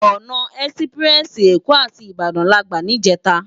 Òná èsipirèsi Ékò àti Ibadan làgbá nijètá